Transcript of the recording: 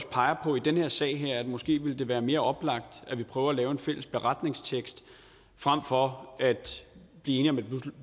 peger på i den her sag at det måske ville være mere oplagt at vi prøver at lave en fælles beretningstekst frem for at blive enige om et